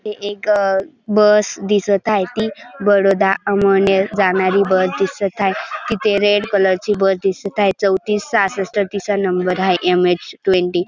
तिथे एक बस दिसत आहे ती बडोदा अंमळनेर जाणारी बस दिसत आहे. तिथे रेड कलर ची बस दिसत आहे चौतीस सहासष्ठ तिचा नंबर आहे. M H twenty --